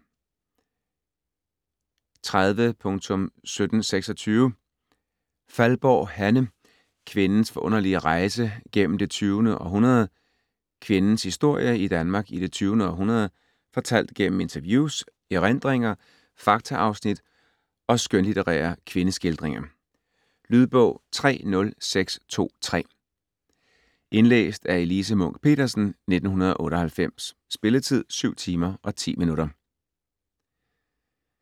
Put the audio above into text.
30.1726 Faldborg, Hanne: Kvindens forunderlige rejse gennem det tyvende århundrede Kvindens historie i Danmark i det 20. århundrede fortalt gennem interviews, erindringer, faktaafsnit og skønlitterære kvindeskildringer. Lydbog 30623 Indlæst af Elise Munch-Petersen, 1998. Spilletid: 7 timer, 10 minutter.